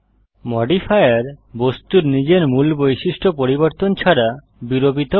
modifier বস্তুর নিজের মূল বৈশিষ্ট্য পরিবর্তন ছাড়া বিরুপিত করে